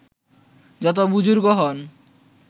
যতই বুজুর্গ হন